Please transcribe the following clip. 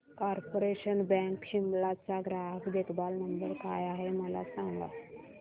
corporation bank Shimla चा ग्राहक देखभाल नंबर काय आहे मला सांग